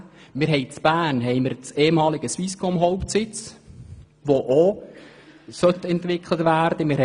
In Bern befindet sich der ehemalige Swisscom-Hauptsitz, welcher auch entwickelt werden soll.